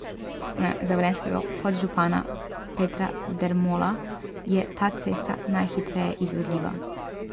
Za velenjskega podžupana Petra Dermola je ta cesta najhitreje izvedljiva.